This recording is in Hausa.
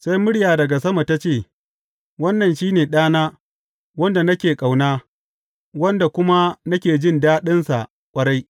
Sai murya daga sama ta ce, Wannan shi ne Ɗana wanda nake ƙauna; wanda kuma nake jin daɗinsa ƙwarai.